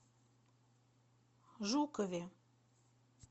жукове